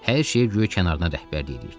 Hər şeyə guya kənarından rəhbərlik edirdi.